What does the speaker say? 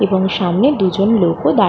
এবং সামনে দুজন লোক ও দাঁ--